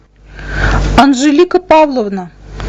анжелика павловна